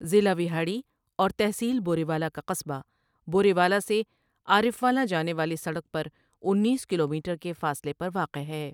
ضلع وہاڑی اور تحصیل بوریوالہ کا قصبہ، بوریوالہ سے عارفوالہ جانے والی سڑک پر انیس کلومیٹر کے فاصلے پر واقع ہے ۔